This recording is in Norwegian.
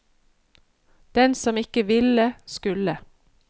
Den som ikke ville, skulle.